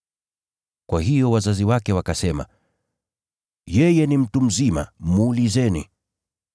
Kwa hiyo wazazi wake wakasema, “Yeye ni mtu mzima. Muulizeni.”